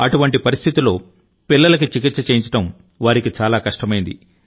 అటువంటి పరిస్థితిలో పిల్లలకి చికిత్స చేయించడం వారికి చాలా కష్టమైంది